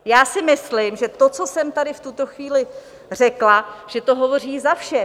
Já si myslím, že to, co jsem tady v tuto chvíli řekla, že to hovoří za vše.